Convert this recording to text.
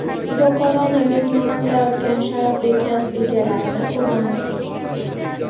fidokorona mehnat qilayotgan sharafli kasb egalarini ko‘ramiz.